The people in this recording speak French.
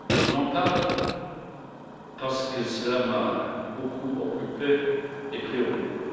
J'en parle parce que cela m'a beaucoup occupé et préoccupé.